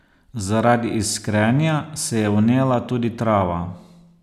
Zaradi iskrenja se je vnela tudi trava.